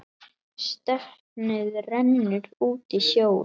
Stefnið rennur út í sjóinn.